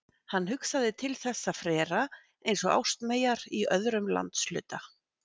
Hann hugsaði til þessa frera eins og ástmeyjar í öðrum landshluta.